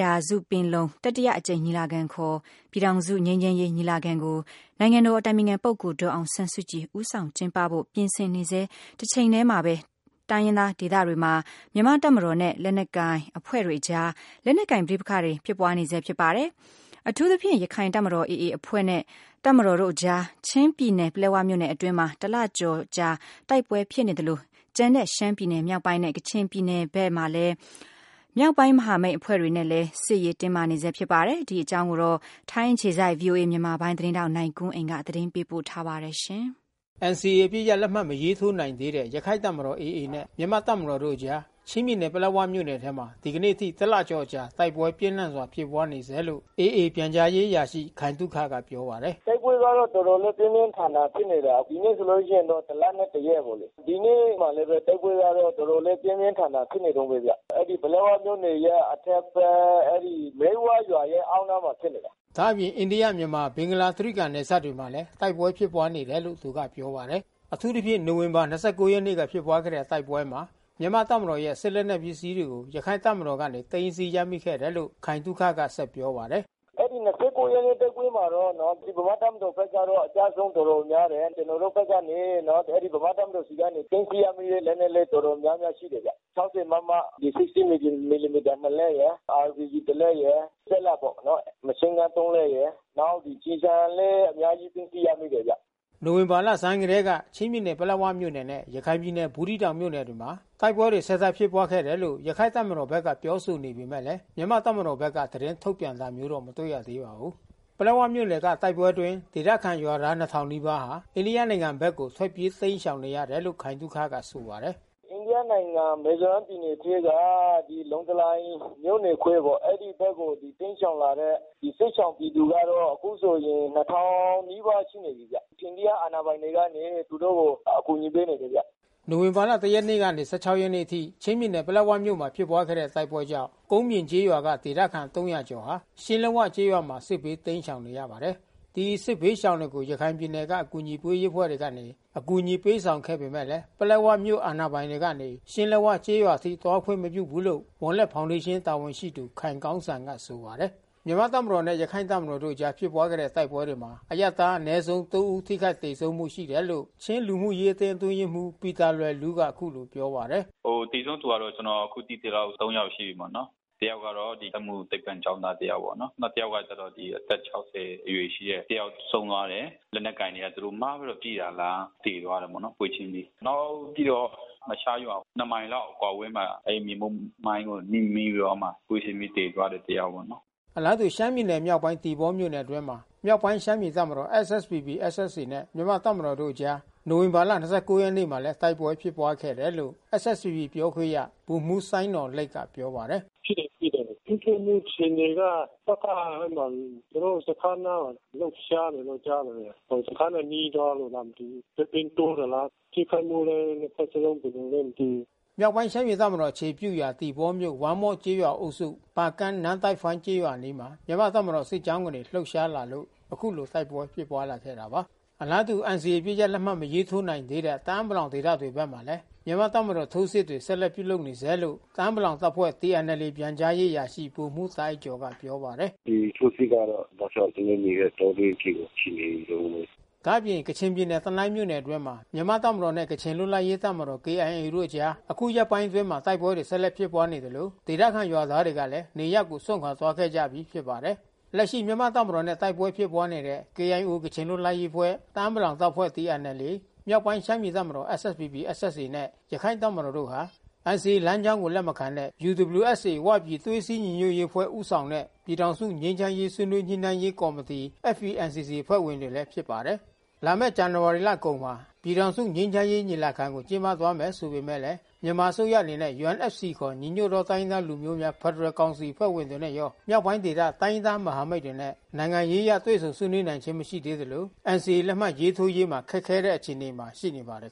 ရာစုပင်လုံတတိယအကြိမ်ညီလာခံခေါ် ပြည်ထောင်စုငြိမ်းချမ်းရေးညီလာခံကို နိုင်ငံတော်အတိုင်ပင်ခံပုဂ္ဂိုလ် ဒေါ်အောင် ဆန်းစုကြည်ဦးဆောင်ကျင်းပဖို့ ပြင်ဆင်နေဆဲတချိန်ထဲမှာဘဲ တိုင်းရင်းသားဒေသတွေမှာ မြန်မာ့တပ်မတော်နဲ့ လက်နက် ကိုင် အဖွဲ့တွေအကြား လက်နက်ကိုင်ပဋိပက္ခတွေဖြစ်ပွါးနေဆဲဖြစ်ပါတယ်။ အထူးသဖြင့် ရခိုင်တပ်မတော်AAအဖွဲ့နဲ့ တပ်မ တော်တို့အကြား ချင်းပြည်နယ်ပလက်ဝမြို့နယ်အတွင်းမှာ တလကျော်အကြာတိုက်ပွဲဖြစ်နေသလို ကျန်တဲ့ရှမ်းပြည်နယ် မြောက်ပိုင်း နဲ့ကချင်ပြည်နယ်တွေဘက်မှာ မြောက်ပိုင်းမဟာမိတ်အဖွဲ့တွေနဲ့လဲ စစ်ရေးတင်းမာနေဆဲဖြစ်ပါတယ်။ ဗွီအိုအေ ထိုင်းအခြေစိုက်သတင်းထောက် နိုင်ကွန်းအိန် ကနေ သတင်းပေးပို့ထားပါတယ်။ NCAအပစ်ရပ်လက်မှတ်မရေးထိုးနိုင်သေးတဲ့ ရခိုင်တပ်မတော်AAနဲ့ မြန်မာ့တပ်မတော်တို့အကြား ချင်းပြည်နယ် ပလက်၀ မြို့နယ်ထဲမှာ ဒီနေ့အထိ တလကျော်အကြာတိုက်ပွဲပြင်းထန်ဖြစ်ပွါးဆဲလို့ AAပြန်ကြားရေးအရာရှိခိုင်သုခကပြောပါတယ်။ "တိုက်ပွဲကတော့တော်တော်လေးပြင်းပြင်းထန်ထန် ဖြစ်နေတာ ဒီနေ့ဆိုလို့ရှိရင်တော့ တလနဲ့တရက်ပေါ့လေ။ ဒီနေ့မှာလဲဘဲ တိုက်ပွဲကတော်တော်လေးပြင်းပြင်းထန်ထန်ဖြစ်နေတုန်းဘဲ။ ဒီနေ့တော့ပလက်ဝမြို့နယ်ရဲ့အထက်ဘက် မြိတ်ဝရွာရဲ့ အောက်နားမှာဖြစ်နေတာ။" ဒါ့အပြင် အိန္ဒိယ -မြန်မာ-ဘင်္ဂလား တြိဂံနယ်စပ်တွေမှာလဲတိုက်ပွဲဖြစ်နေတယ်လို့သူကပြောပါတယ်။ အထူးသဖြင့် နိုဝင်ဘာ ရက်နေ့က ဖြစ်ပွါးခဲ့တဲ့တိုက်ပွဲမှာ မြန်မာတပ်မတော်ရဲ့စစ်လက်နက်ပစ္စည်းတွေကို ရခိုင်တပ်မ တော်ကနေသိမ်းဆည်းရမိခဲ့တယ်လို့ ခိုင်သုခကဆက်ပြောပါတယ်။ "အဲဒီ ရက်နေ့တိုက်ပွဲမှာတော့ ဗမာ့တပ်မတော်ဘက်ကအကျဆုံးတော်တော်များတယ်။ ကျွန်တော်တို့ဘက်ကနေ ဗမာ့ တပ်မတော်ဆီက သိမ်းဆည်းရမိတဲ့လက်နက်လဲတော်တော်များများရှိတယ်ဗျ။ ၆၀မမ ဒီ ၆0 မီလီမီတာ လက်ရယ်။ RPG တလက်ရယ်။ စက်လတ်ပေါ့နော် မရှင်းဂမ်း လက်ရယ်။ နောက် ကျည်ဆံလဲအများကြီးသိမ်းဆည်းရမိတယ်ဗျ။" နိုဝင်ဘာလဆန်းကတည်းက ချင်းပြည်နယ်ပလက်ဝမြို့နယ်နဲ့ ရခိုင်ပြည်နယ်ဘူးသီးတောင်မြို့နယ်တွေမှာ တိုက်ပွဲ ဆက် တိုက်ဖြစ်ပွါးခဲ့တယ်လို့ ရခိုင်တပ်မတော်ဘက်က ပြောဆိုနေပေမဲ့လဲ မြန်မာ့တပ်မတော်ဘက်က သတင်းထုတ်ပြန်တာမျိုး မတွေ့ရပါဘူး။ ပလက်ဝမြို့နယ်က တိုက်ပွဲအတွင်းဒေသခံ ကျေးရွာသားနှစ်ထောင်နီးပါးဟာ အိန္ဒိယနိုင်ငံဘက်ကို ထွက်ပြေးတိမ်းရှောင် နေရတယ်လို့ ခိုင်သုခကဆိုပါတယ်။ "အိန္ဒိယနိုင်ငံ မီဇီုရမ်ပြည်နယ်ထဲက ဒီလောင်တလိုင်မြို့နယ်ခွဲပေါ့ အဲဒီဘက်ကို တိမ်းရှောင်လာတဲ့ စစ်ရှောင်ပြည်သူကတော့ အခုဆိုရင် နီးပါးရှိနေပြီးဗျ။ အိန္ဒိယအာဏာပိုင်တွေကနေသူတို့ကိုအကူညီပေးနေတယ်ဗျ။" နိုဝင်ဘာ ၁ ရက်မှ ၁၆ ရက်အထိ ချင်းပြည်နယ် ပလက်ဝမြို့နယ်မှာဖြစ်ပွါးခဲ့တဲ့တိုက်ပွဲကြောင့် ကုန်ပြင်ကျေးရွာက ဒေသခံ ၃၀၀ ကျော်မှာ ရှင်းလက်ဝကျေးရွာမှာ စစ်ဘေးတိမ်းရှောင်နေရပါတယ်။ ဒီစစ်ဘေးရှောင်တွေကို ရခိုင်ပြည်နယ်က အကူညီပေးရေးအဖွဲ့တွေကနေ အကူညီပေးဆောင်ခဲ့ပေမဲ့ ပလက်ဝမြို့အာဏာ ပိုင်တွေကနေ ရှင်းလက်ဝကျေးရွာအထိသွားခွင့်မပြုဘူးလို့ဝံလက်ဖေါင်ဒေးရှင်းကတာဝန်ရှိသူ ခိုင်ကောင်းစံကဆိုပါတယ်။ မြန်မာ့တပ်မတော်နဲ့ ရခိုင့်တပ်မတော်တို့အကြားဖြစ်ပွါးခဲ့တဲ့တိုက်ပွဲတွေမှာ အရပ်သားအနဲဆုံး ဦး ထိခိုက်သေဆုံးမှု ရှိခဲ့တယ်လို့ ချင်းလူမှုရေးအသင်းအတွင်းရေးမှူးပီတာလွယ်လူးက အခုလိုပြောပါတယ်။ "သေဆုံးသူကတော့ ကျွန်တော်အခုသိသလောက် ယောက်ရှိပြီးပေါ့နော်။ တယောက်ကတော့ စက်မှုသိပ္ပံကျောင်းသား တယောက်ပေါ့နော်။ နောက်တယောက်ကတော့အသက် အရွယ်ရှိတဲ့ တယောက်ဆုံးသွားတယ်။ လက်နက်ကိုင် တွေကသူတို့မှားပြီးတော့ပစ်တာလား။ သေသွားတာပေါ့နော်ပွဲချင်းပြီး။ နောက်ပြီးတော့ အရှားရွာ နှစ်မိုင်လောက် အကွာအဝေးမှာ အဲဒီမြေမြုပ်မိုင်းကိုနင်းမိပြီးတော့မှ ပွဲချင်းပြီးသေသွားတယ်တယောက်ပေါ့နော်။" အလားတူ ရှမ်းပြည်နယ်မြောက်ပိုင်းသီပေါမြို့နယ်အတွင်းမှာ မြောက်ပိုင်းရှမ်းပြည်တပ်မတော်SSPP/SSAနဲ့မြန်မာ့တပ်မ တော်တို့အကြား နိုဝင်ဘာ ရက်နေ့မှာတိုက်ပွဲဖြစ်ပွါးခဲ့တယ်လို့ SSPPပြောခွင့်ရဗိုလ်မှူးစိုင်းနော်လိတ်ကပြော ပါတယ်။ "ဖြစ်တယ်။ ဖြစ်တယ်။ ထိတွေ့မှုအခြေအနေက တပ်ကအဲဒီမှာ သူတို့စခန်းအနားလှုပ်ရှားနေတယ်လို့ကြားတယ်။ စခန်းနဲ့နီးသွားလို့လားမသိဘူး။ ချက်ချင်းတိုးတာလား ထိခိုက်မှုလဲနှစ်ဖက်စလုံး ကျွန်တော်တော့မသိဘူး။" မြောက်ပိုင်းရှမ်းပြည်တပ်မတော်အခြေပြုရာ သီပေါမြို့နယ် ဝမ့်မော့ကျေးရွာအုပ်စု ပါကန်း နမ့်တိုက်ဖိုင်းကျေးရွာအနီးမှာ မြန်မာ့တပ်မတော်စစ်ကြောင်းကနေ လှုပ်ရှားလာလို့ အခုလိုတိုက်ပွဲဖြစ်ပွါးခဲ့တာပါ။ အလားတူ NCAအပစ်ရပ်လက်မှတ်မထိုးနိုင်သေးတဲ့တအာင်းပလောင်ဒေသတွေဘက်မှာလဲ မြန်မာ့တပ်မတော်ထိုးစစ်တွေ ဆက်လက်ပြုလုပ်နေဆဲလို့ တအာင်းပလောင်တပ်ဖွဲ့TNLAပြန်ကြားရေးအရာရှိဗိုလ်မှူးတာ့အိုက်ကျော်ကဆိုပါတယ်။ "ဒီထိုးစစ်ကတော့တောက်လျှောက် ကျွန်တော်တို့နေတဲ့ တောတွင်းအထိရှိနေတုန်းဘဲ။" ဒါ့အပြင် ကချင်ပြည်နယ် တနိုင်းမြို့နယ်အတွင်းမှာ မြန်မာ့တပ်မတော်နဲ့ ကချင်လွတ်လပ်ရေးတပ်မတော် KIAတို့အကြား အခုရက်ပိုင်းအတွင်းမှာ တိုက်ပွဲတွေဆက်လက်ဖြစ်ပွါးနေသလို ဒေသခံရွာသားတွေကလဲ နေရပ်ကိုစွန့်ခွာသွားခဲ့ကြပြီး ဖြစ် ပါတယ်။ လက်ရှိမြန်မာ့တပ်မတော်နဲ့တိုက်ပွဲဖြစ်ပွါးနေတဲ့ KIOကချင်လွတ်လပ်ရေးအဖွဲ့ ၊ တအာင်းပလောင်တပ်ဖွဲ့၊ TNLA မြောက်ပိုင်း ရှမ်းပြည်တပ်မတော်SSPP/SSAနဲ့ ရခိုင့်တပ်မတော်AAတို့ဟာ NCAလမ်းကြောင်းကိုလက်မခံတဲ့ UWSAဝပြည်သွေးစည်း ညီညွတ်ရေးအဖွဲ့ဦးဆောင်တဲ့ ပြည်ထောင်စုငြိမ်းချမ်းရေးဆွေးနွေးညှိနှိုင်းရေးကော်မတီFPNCCအဖွဲ့ဝင်တွေလဲဖြစ် ပါတယ်။ လာမဲ့ဇန်နဝါရီလကုန်မှ ပြည်ထောင်စုငြိမ်းချမ်းရေးညီလာခံ ကိုကျင်းပသွားမယ်ဆိုပေမဲ့ မြန်မာအစိုးရအနေနဲ့UNFCခေါ် ညီညွတ်သောတိုင်းရင်းသားလူမျိုးများဖက်ဒရယ်ကောင်စီအဖွဲ့ဝင်တွေနဲ့ရော မြောက်ပိုင်းဒေသ တိုင်းရင်းသားမဟာမိတ် အဖွဲ့ဝင်တွေနဲ့ နိုင်ငံရေးအရတွေ့ဆုံဆွေးနွေးနိုင်ခြင်းမရှိသေးသလို NCAလက်မှတ်ရေးထိုးရေးမှာ ခက်ခဲတဲ့အခြေ အနေ မှာရှိနေပါတယ်